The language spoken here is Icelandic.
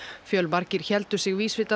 fjölmargir héldu sig vísvitandi